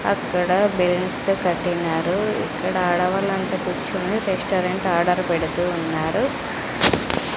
అక్కడ బెలూన్స్ తో కట్టినారు ఇక్కడ అడవులంతా రెస్టారెంట్ ఆర్డర్ పెడుతూ ఉన్నారు.